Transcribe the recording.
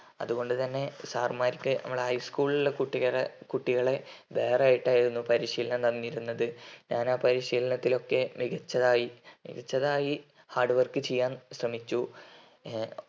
അതുകൊണ്ടു തന്നെ സാർ മാരൊക്കെ നമ്മൾ high school കുട്ടികൾ വേറെ ആയിട്ടായിരുന്നു പരിശീലനം തന്നിരുന്നത് ഞാൻ ആ പരിശീലനത്തിൽ ഒക്കെ മികച്ചതായി മികച്ചതായി hard work ചെയ്യാൻ ശ്രമിച്ചു